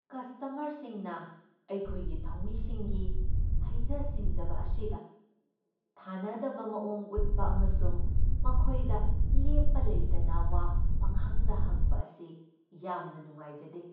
ꯀꯁꯇꯃꯔꯁꯤꯡꯅ ꯑꯩꯈꯣꯏꯒꯤ ꯊꯧꯃꯤꯁꯤꯡꯒꯤ ꯍꯩꯖ ꯁꯤꯡꯖꯕ ꯑꯁꯤꯗ ꯊꯥꯅꯗꯕ ꯃꯑꯣꯡ ꯎꯠꯄ ꯑꯃꯁꯨꯡ ꯃꯈꯣꯏꯗ ꯂꯦꯞꯄ ꯂꯩꯇꯅ ꯋꯥ ꯄꯪꯍꯪꯗ ꯍꯪꯕ ꯑꯁꯤ ꯌꯥꯝꯅ ꯅꯨꯡꯉꯥꯏꯖꯗꯦ ꯫